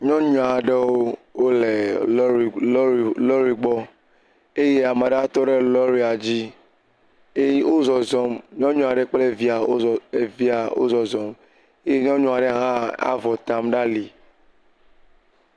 Nyɔnu aɖewo le lɔri lɔri lɔri gbɔ eye ame aɖe tɔ ɖe lɔria dzi eye wozɔzɔm. Nyɔnu aɖe kple via evia wo zɔzɔm eye nyɔnu aɖe hã avɔ tam ɖe ali.